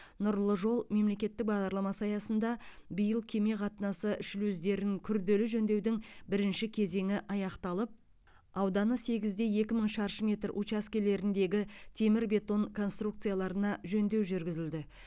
нұрлы жол мемлекеттік бағдарламасы аясында биыл кеме қатынасы шлюздерін күрделі жөндеудің бірінші кезеңі аяқталып ауданы сегіз де екі мың шаршы метр учаскелеріндегі темір бетон конструкцияларына жөндеу жүргізілді